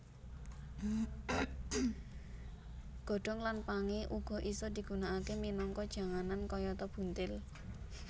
Godhong lan pangé uga isa digunakaké minangka janganan kayata buntil